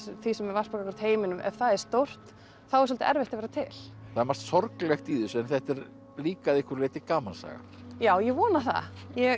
því sem er varpað gagnvart heiminum ef það er stórt þá er svolítið erfitt að vera til það er margt sorglegt í þessu en þetta er líka að einhverju leyti gamansaga já ég vona það